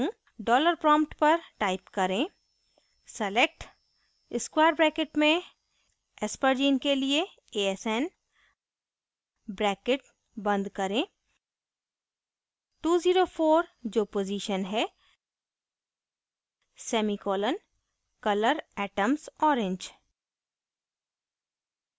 $prompt पर type करें: select square brackets में aspergine के लिए asn brackets बंद करें 204 जो पोज़ीशन है semicolon color atoms orange